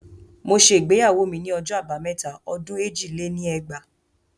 Mo ṣe ìgbéyàwó ni ọjọ́ abámẹ́ta ọdún èjì lé ní ẹgbàá